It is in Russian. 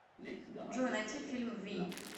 джой найти фильм вий